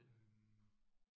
Øh